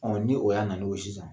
ni o y'a nali o sisan